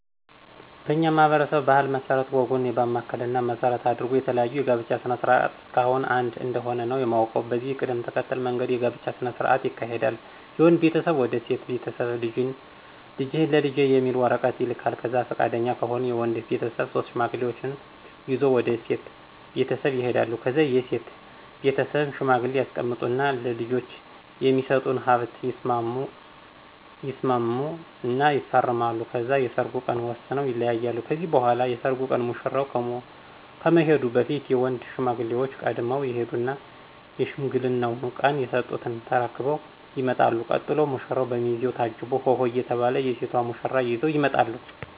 በኛ ማህበረሰብ ባህል መስረት ወጉን ባማከለ እና መሰረት አድርጎ የተለያዩ የጋብቻ ስነ ስርዓት እስካሁን አንድ እንደሆነ ነው የማውቀው። በዚህ ቅደም ተከተል መንገድ የጋብቻ ስነ ስርዓት ይካሄዳል የወንድ ቤተሰብ ወደ ሴት ቤተስብ ልጅህን ለልጄ የሚል ወረቀት ይልካል ከዛ ፍቃደኛ ከሆኑ የወድ ቤተሰብ ሶስት ሽማግሌ ይዞ ወደ ሴት ቤተሰብ ይሄዳሉ ከዛ የሴት ቤትስብም ሽማግሌ ያስቀምጡ እና ለልጄች የሚስጡትን ሀብት ይስማሙ እና ይፈራረማሉ ከዛ የሰርጉን ቀን ወስነው ይለያያሉ ከዚህ በኋላ የሰርጉ ቀን ሙሽራው ከመሄዱ በፊት የወንድ ሽማግሌዎች ቀድመው ይሄዱና የሽምግልናው ቀን የስጡትን ተርክበው ይመጣሉ ቀጥሎ ሙራው፣ በሚዜው ታጅቦ ሆሆ እየተባል የሴቷን ሙሽራ ይዘው ይመጣሉ።